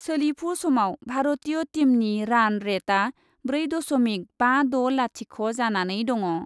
सोलिफु समाव भारतीय टीमनि रान रेटआ ब्रै दशमिक बा द' लाथिख' जानानै दङ।